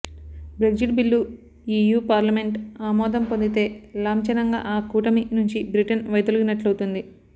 Brexit bill EU parliament ఆమోదం పొందితే లాం ఛనంగా ఆ కూటమి నుంచి బ్రిటన్ వైదొలిగినట్లవుతుంది